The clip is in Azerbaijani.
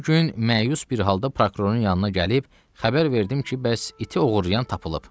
Bir gün məyus bir halda prokurorun yanına gəlib xəbər verdim ki, bəs iti oğurlayan tapılıb.